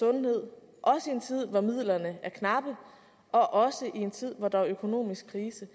sundhed også i en tid hvor midlerne er knappe og også i en tid hvor der er økonomisk krise